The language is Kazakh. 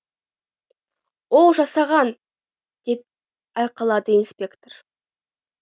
оу жасаған деп айқайлады инспектор